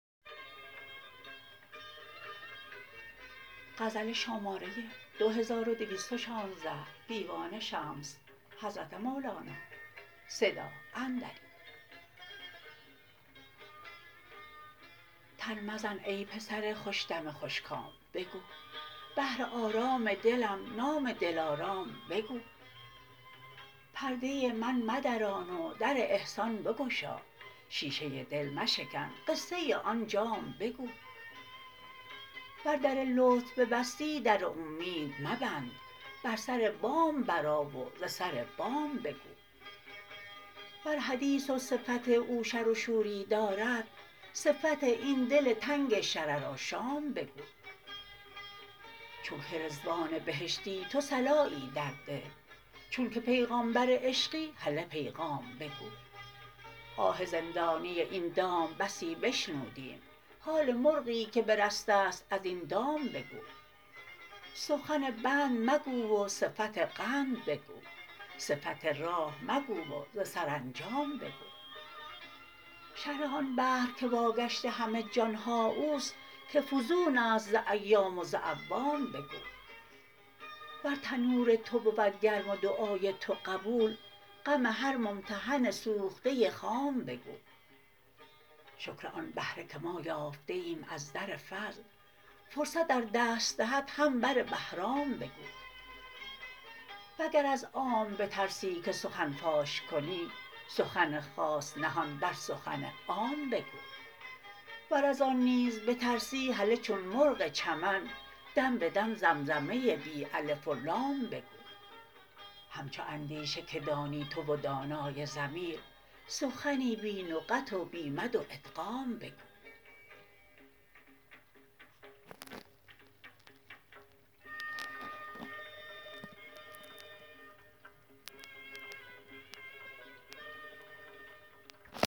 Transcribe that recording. تن مزن ای پسر خوش دم خوش کام بگو بهر آرام دلم نام دلارام بگو پرده من مدران و در احسان بگشا شیشه دل مشکن قصه آن جام بگو ور در لطف ببستی در اومید مبند بر سر بام برآ و ز سر بام بگو ور حدیث و صفت او شر و شوری دارد صفت این دل تنگ شررآشام بگو چونک رضوان بهشتی تو صلایی درده چونک پیغامبر عشقی هله پیغام بگو آه زندانی این دام بسی بشنودیم حال مرغی که برسته ست از این دام بگو سخن بند مگو و صفت قند بگو صفت راه مگو و ز سرانجام بگو شرح آن بحر که واگشت همه جان ها او است که فزون است ز ایام و ز اعوام بگو ور تنور تو بود گرم و دعای تو قبول غم هر ممتحن سوخته خام بگو شکر آن بهره که ما یافته ایم از در فضل فرصت ار دست دهد هم بر بهرام بگو وگر از عام بترسی که سخن فاش کنی سخن خاص نهان در سخن عام بگو ور از آن نیز بترسی هله چون مرغ چمن دم به دم زمزمه بی الف و لام بگو همچو اندیشه که دانی تو و دانای ضمیر سخنی بی نقط و بی مد و ادغام بگو